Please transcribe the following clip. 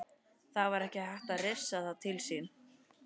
Það var ekki hægt að hrifsa það til sín.